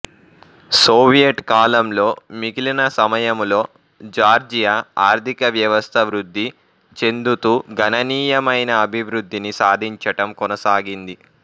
Soviet కాలంలో మిగిలిన సమయములో జార్జియా ఆర్థికవ్యవస్థ వృద్ధి చెందుతూ గణనీయమైన అభివృద్ధిని సాధించటం కొనసాగింది